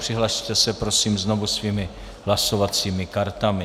Přihlaste se prosím znovu svými hlasovacími kartami.